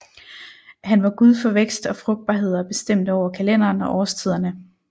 Han var gud for vækst og frugtbarhed og bestemte over kalenderen og årstiderne